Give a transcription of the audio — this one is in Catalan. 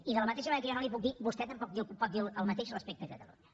i de la mateixa manera que jo no li ho puc dir vostè tampoc pot dir el mateix respecte a catalunya